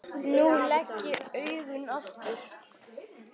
Nú legg ég augun aftur.